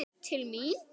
Til mín?